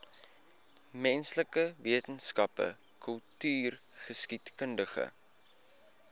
menslike wetenskappe kultureelgeskiedkundige